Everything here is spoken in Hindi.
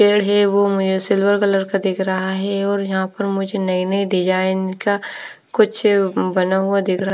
पेड़ है वो मुझे सिल्वर कलर का दिख रहा है और यहां पर मुझे नई नई डिजाइन का कुछ बना हुआ दिख रा--